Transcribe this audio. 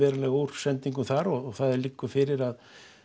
úr sendingum þar og það liggur fyrir að